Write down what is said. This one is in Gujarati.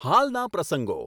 હાલના પ્રસંગો